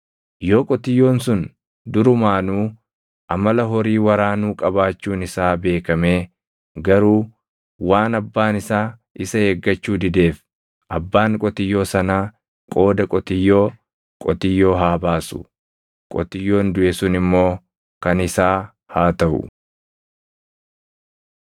Yoo qotiyyoon sun durumaanuu amala horii waraanuu qabaachuun isaa beekamee garuu waan abbaan isaa isa eeggachuu dideef abbaan qotiyyoo sanaa qooda qotiyyoo, qotiyyoo haa baasu; qotiyyoon duʼe sun immoo kan isaa haa taʼu.